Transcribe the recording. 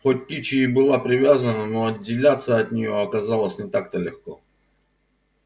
хоть кичи и была привязана но отделяться от нее оказалось не так то легко